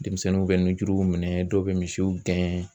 Denmisɛnninw bɛ nunjuruw minɛ dɔw bɛ misiw gɛn.